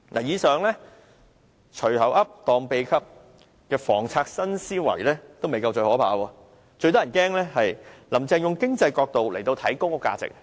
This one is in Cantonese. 以上"隨口噏，當秘笈"的房策新思維也未算最可怕，最可怕的是，"林鄭"從經濟角度來看公屋價值。